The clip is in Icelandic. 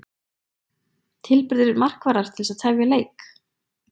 Tilburðir markvarðar til þess að tefja leik?